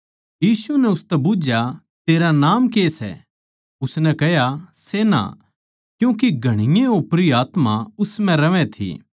यीशु नै उसतै बुझ्झया तेरा के नाम सै उसनै कह्या सेना क्यूँके घणीए ओपरी आत्मा उस म्ह रहवैं थी